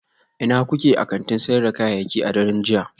Ina kuke a kantin sayar da kayayyaki a daren jiya?